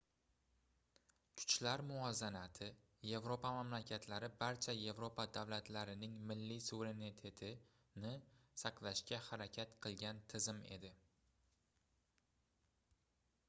kuchlar muvozanati yevropa mamlakatlari barcha yevropa davlatlarining milliy suverenitetini saqlashga harakat qilgan tizim edi